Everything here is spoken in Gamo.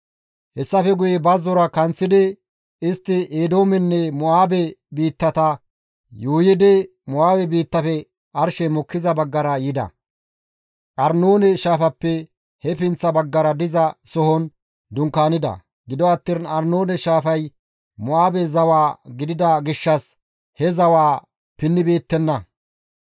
Hessafe guye bazzora kanththidi istti Eedoomenne Mo7aabe biittata yuuyidi Mo7aabe biittafe arshey mokkiza baggara yida; Arnoone shaafappe he pinththa baggara diza sohon dunkaanida; gido attiin Arnoone shaafay Mo7aabe zawa gidida gishshas he zawaa pinnibeettenna.